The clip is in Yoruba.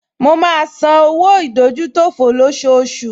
Mo máa ń san owó ìdójútòfò lọ́ṣooṣù